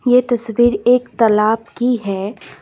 ये तस्वीर एक तालाब की है।